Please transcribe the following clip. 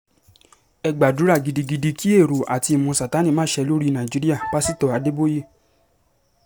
ẹ gbàdúrà gidigidi kí èrò àti ìmọ̀ sàtánì má ṣe lórí nàìjíríà-pásitọ̀ adéboye